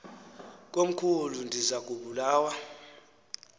komkhulu ndiza kubulawa